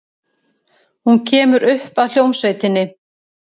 Hún kemur upp að hljómsveitinni.